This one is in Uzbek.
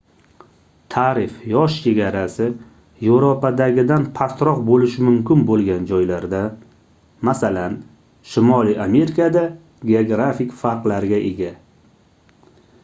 taʼrif yosh chegarasi yevropadagidan pastroq boʻlishi mumkin boʻlgan joylarda masalan shimoliy amerikada geografik farqlarga ega